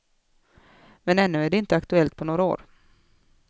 Men ännu är det inte aktuellt på några år.